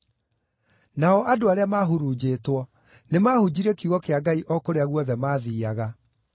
Nao andũ arĩa maahurunjĩtwo nĩmahunjirie kiugo kĩa Ngai o kũrĩa guothe maathiiaga.